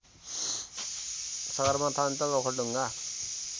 सगरमाथा अञ्चल ओखलढुङ्गा